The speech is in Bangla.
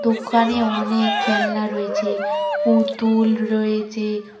ওখানে অনেক খেলনা রয়েছে পুতুল রয়েছে।